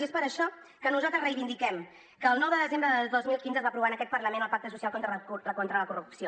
i és per això que nosaltres reivindiquem que el nou de desembre del dos mil quinze es va aprovar en aquest parlament el pacte social contra la corrupció